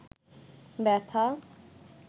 ব্যথা